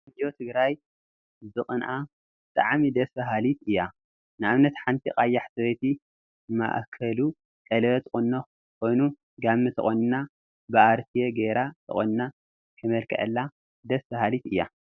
ቆንጆ ትግራይ ብቁንአ ብጣዕሚ ደስ በሃሊት እያ፡፡ ንአብነት ሓንቲ ቀያሕ ሰበይቲ ማእከሉ ቀለበት ቁኖ ኮይኑ ጋመ ተቆኒና ብአርትየ ገይራ ተቆኒና ከመልክዐላ ደስ በሃሊት እያ፡፡